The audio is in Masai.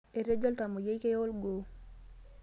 Etejo oltamuyiai keya olgoo.